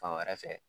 Fan wɛrɛ fɛ